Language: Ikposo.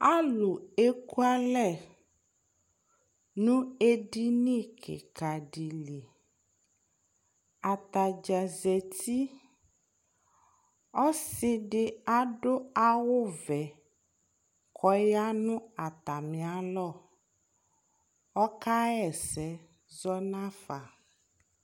alʊ ekʊalɛ nʊ edɩnɩ kɩkadɩ lɩ atadja zetɩ ɔsɩdɩ adʊ awʊ vɛ kʊ ɔyanʊ atamɩalɔ kɔka hɛsɛ nafa